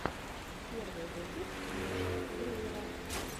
первый выпуск нэша гриера